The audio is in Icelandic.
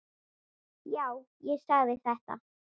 Já, ég sagði þetta.